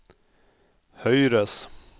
høyres